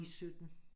I 17